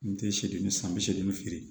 N te seegin san bi seegin